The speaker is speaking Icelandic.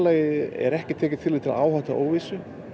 er ekki tekið tillit til áhættu og óvissu